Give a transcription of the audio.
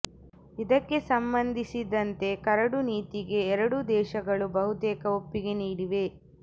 ಇದಕ್ಕೆ ಸಂಬಂಧಿಸಿದಂತೆ ಕರಡು ನೀತಿಗೆ ಎರಡೂ ದೇಶಗಳು ಬಹುತೇಕ ಒಪ್ಪಿಗೆ ನೀಡಿವೆ